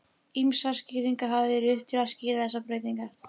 Ýmsar skýringar hafa verið uppi til að skýra þessar breytingar.